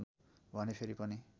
भने फेरि पनि